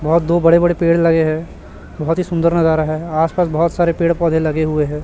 बहुत दो बड़े बड़े पेड़ लगे हैं बोहोत ही सुंदर नजर आ रहा है आसपास बोहोत सारे पेड़ पौधे लगे हुए हैं।